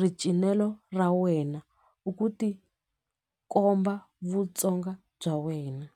ricinelo ra wena u ku tikomba Vutsonga bya wena.